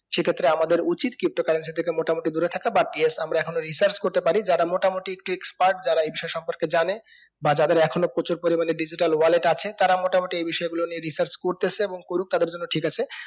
সেই ক্ষেত্রে আমদের উচিত pto currency থেকে মোটামুটি দূরে থাকা বা দিয়ে আমরা এখনো research করতে পারি যারা মোটামোটি একটু expert যারা এই বিষয় সম্পর্কে জানে বা যাদের এখনো প্রচুর পরিমানে digital wallet আছে তারা মোটামুটি এই বিষয় গুলো নিয়ে research করতেসে এবং করুক তাদের জন্য ঠিক আছে